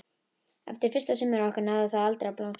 Eftir fyrsta sumarið okkar náði það aldrei að blómstra.